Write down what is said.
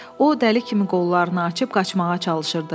O dəli kimi qollarını açıb qaçmağa çalışırdı.